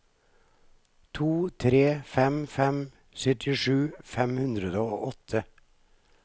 to tre fem fem syttisju fem hundre og åtte